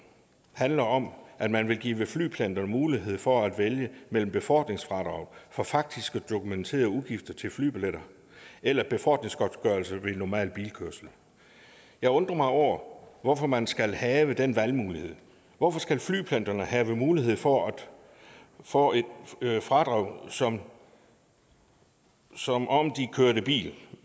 handler om at man vil give flypendlerne mulighed for at vælge mellem befordringsfradrag for faktiske dokumenterede udgifter til flybilletter eller befordringsgodtgørelse ved normal bilkørsel jeg undrer mig over hvorfor man skal have den valgmulighed hvorfor skal flypendlerne have mulighed for at få et fradrag som som om de kørte bil